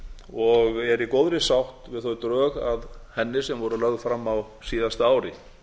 og er í góðri sátt við þau drög að henni sem voru lögð fram á síðasta ári